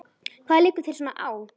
Hvað liggur þér svona á?